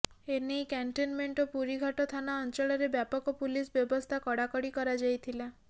ଏ ନେଇ କ୍ୟାଣ୍ଟନମେଣ୍ଟ ଓ ପୁରୀଘାଟ ଥାନା ଅଞ୍ଚଳରେ ବ୍ୟାପକ ପୁଲିସ ବ୍ୟବସ୍ଥା କଡାକଡି କରାଯାଇଥିଲା